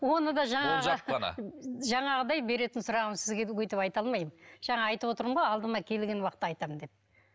оны да жаңағы жаңағыдай беретін сұрағым сізге өйтіп айта алмаймын жаңа айтып отырмын ғой алдыма келген уақытта айтамын деп